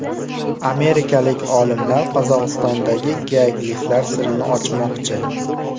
Amerikalik olimlar Qozog‘istondagi geogliflar sirini ochmoqchi .